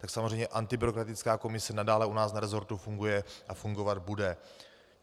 Tak samozřejmě antibyrokratická komise nadále u nás v resortu funguje a fungovat bude.